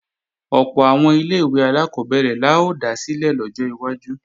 Ọ̀pọ̀ àwọn ilé-ìwé alákọ́bẹ̀rẹ̀ la ó dá sílẹ̀ lọ́jọ́ iwájú